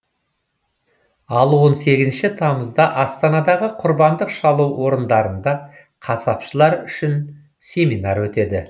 ал он сегізінші тамызда астанадағы құрбандық шалу орындарында қасапшылар үшін семинар өтеді